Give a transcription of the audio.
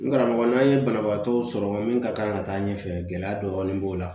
N karamɔgɔ n'an ye banabaatɔ sɔrɔ min ka kan ka taa ɲɛfɛ gɛlɛya dɔɔni b'o la